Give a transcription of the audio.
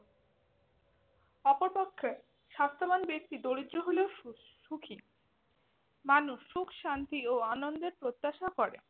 অপরপক্ষে, স্বাস্থ্যবান ব্যক্তি দারিদ্র হলেও সুস্ ~ সুখি। মানুষ সুখ শান্তি ও আনন্দের প্রত্যাশা করে।